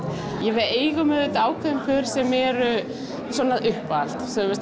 við eigum auðvitað ákveðin pör sem eru svona uppáhalds